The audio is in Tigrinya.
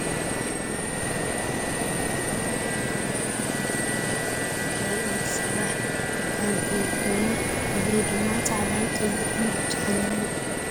ናይ ብሪ ጎባጉብ ይበሃል ተቐሚጡዎ ዘሎ ቦታ ድማ ናይ ኢድ ስራሕ ዳንቴል ኮይኑ ሕብሩ ድማ ፃዕዳ፣ ቐይሕን ብጫን እዩ ።